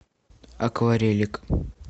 акварелик